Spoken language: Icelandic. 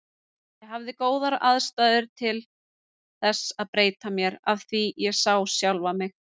Ég hafði góðar aðstæður til þess að breyta mér, af því ég sá sjálfan mig.